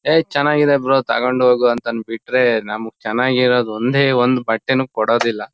ಯೇ ಚನಾಗಿದೆ ಬ್ರೋ ತಗೊಂಡ್ ಹೋಗು ಅಂತಾನ್ ಬಿಟ್ರೆ ನಮ್ಗ್ ಚನಾಗಿರೋದ್ ಒಂದೇ ಒಂದ್ ಬಟ್ಟೆ ನು ಕೊಡೋದಿಲ್ಲ.